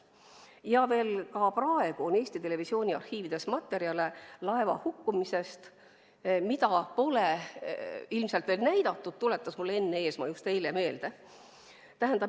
Ka praegu veel on Eesti Televisiooni arhiivides laeva hukkumisest materjale, mida pole ilmselt näidatud, tuletas Enn Eesmaa mulle just eile meelde.